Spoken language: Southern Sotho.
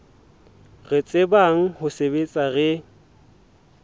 re tsebang ho sebetsa re